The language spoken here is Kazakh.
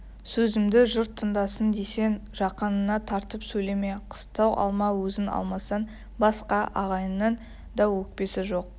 сөзімді жұрт тыңдасын десең жақыныңа тартып сөйлеме қыстау алма өзің алмасаң басқа ағайынның да өкпесі жоқ